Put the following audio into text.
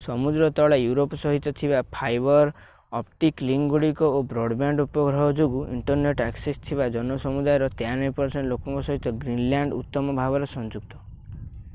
ସମୁଦ୍ର ତଳେ ୟୁରୋପ ସହିତ ଥିବା ଫାଇବର୍ ଅପ୍ଟିକ୍ ଲିଙ୍କଗୁଡ଼ିକ ଓ ବ୍ରଡବ୍ୟାଣ୍ଡ ଉପଗ୍ରହ ଯୋଗୁଁ ଇଣ୍ଟରନେଟ୍ ଆକ୍ସେସ୍ ଥିବା ଜନସମୁଦାୟର 93% ଲୋକଙ୍କ ସହିତ ଗ୍ରୀନଲ୍ୟାଣ୍ଡ ଉତ୍ତମ ଭାବରେ ସଂଯୁକ୍ତ